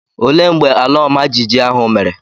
Olee mgbe ala ọma jijiji ahụ mere